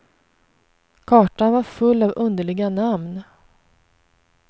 Kartan var full av underliga namn.